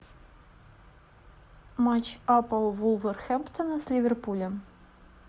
матч апл вулверхэмптона с ливерпулем